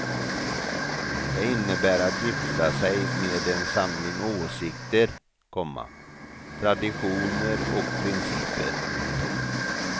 Det innebär att gifta sig med en samling åsikter, komma traditioner och principer. punkt